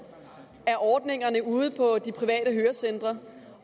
af ordningerne ude på de private hørecentre